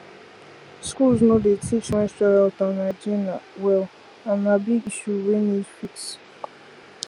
schools no dey teach menstrual health and hygiene well and na big issue wey need fix